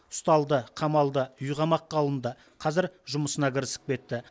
ұсталды қамалды үйқамаққа алынды қазір жұмысына кірісіп кетті